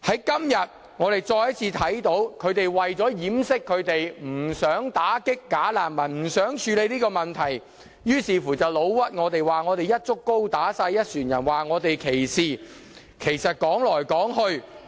今天我們再次看到，他們為了掩飾不想打擊"假難民"，不想處理這問題的意圖，於是便誣陷我們，指我們"一竹篙打一船人"、歧視，但說來說去......